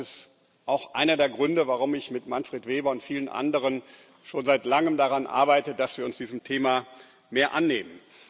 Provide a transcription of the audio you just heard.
Das ist auch einer der Gründe, warum ich mit Manfred Weber und vielen anderen schon seit langem daran arbeite, dass wir uns dieses Themas mehr annehmen.